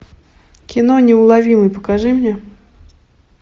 кино неуловимый покажи мне